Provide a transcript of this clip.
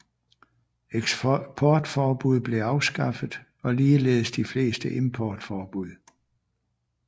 Eksportforbud blev afskaffet og ligeledes de fleste importforbud